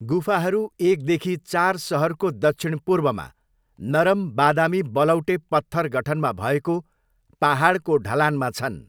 गुफाहरू एकदेखि चार सहरको दक्षिण पूर्वमा नरम बादामी बलौटे पत्थर गठनमा भएको पाहाडको ढलानमा छन्।